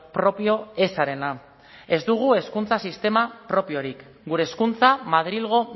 propio ezarena ez dugu hezkuntza sistema propiorik gure hezkuntza madrilgo